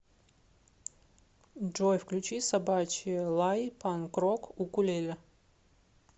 джой включи собачий лай панк рок укулеле